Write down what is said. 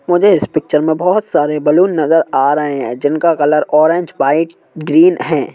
मुझे इस पिक्चर में बहुत सारे बलून नज़र आ रहे हैं जिनका कलर ऑरेंज वाइट ग्रीन है।